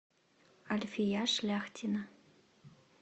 альфия шляхтина